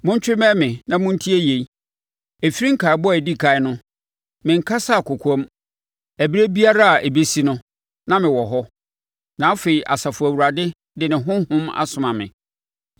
“Montwe mmɛn me na montie yei: “Ɛfiri nkaebɔ a ɛdi ɛkan no, menkasaa kɔkoam; ɛberɛ biara a ɛbɛsi no, na mewɔ hɔ.” Na afei Asafo Awurade de ne Honhom asoma me.